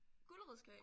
Gulerodskage?